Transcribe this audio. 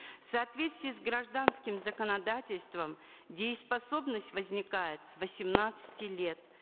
в соответствии с гражданским законодательством дееспособность возникает с восемнадцати лет